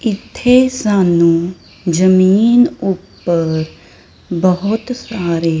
ਇੱਥੇ ਸਾਨੂੰ ਜਮੀਨ ਊਪਰ ਬਹੁਤ ਸਾਰੇ--